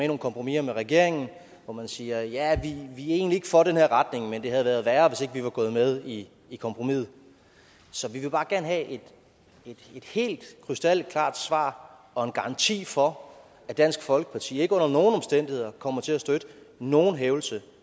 nogle kompromiser med regeringen hvor man siger at ja vi er egentlig ikke for den her retning men det havde været værre hvis ikke vi var gået med i i kompromiset så vi vil bare gerne have et helt krystalklart svar og en garanti for at dansk folkeparti ikke under nogen omstændigheder kommer til at støtte nogen hævelse